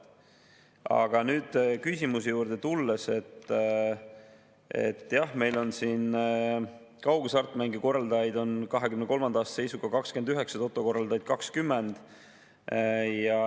Aga nüüd küsimuse juurde tulles: jah, meil on kaughasartmängu korraldajaid 2023. aasta seisuga 29, toto korraldajaid 20.